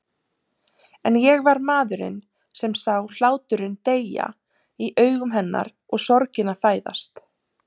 En ég var maðurinn sem sá hláturinn deyja í augum hennar og sorgina fæðast.